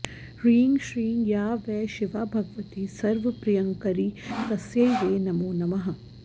ह्रीं श्रीं या वै शिवा भगवती सर्वप्रियङ्करी तस्यै वै नमो नमः